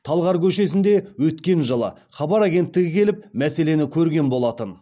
талғар көшесінде өткен жылы хабар агенттігі келіп мәселені көрген болатын